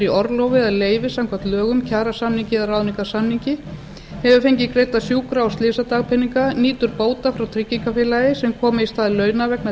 orlofi eða leyfi samkvæmt lögum kjarasamningi eða ráðningarsamningi hefur fengið greidda sjúkra og slysadagpeninga nýtur bóta frá tryggingafélagi sem kom í stað launa vegna